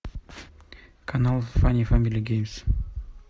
канал фанни фэмили геймс